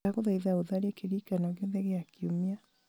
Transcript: ndagũthaitha ũtharie kĩririkanio giothe gĩa kiumia